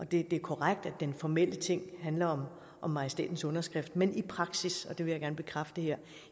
det er korrekt at den formelle ting handler om majestætens underskrift men i praksis og det vil jeg gerne bekræfte her